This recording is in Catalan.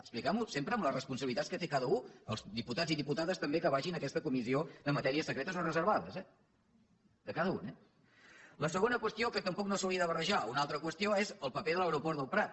expliquem ho sempre amb les responsabilitats que té cada u els diputats i diputades també que vagin a aquesta comissió de matèries secretes o reservades eh de cada un eh la segona qüestió que tampoc no s’hauria de barrejar una altra qüestió és el paper de l’aeroport del prat